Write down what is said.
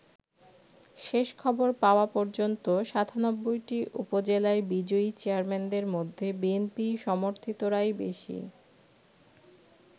শেষ খবর পাওয়া পর্যন্ত সাতানব্বইটি উপজেলায় বিজয়ী চেয়ারম্যানদের মধ্যে বিএনপি সমর্থিতরাই বেশী।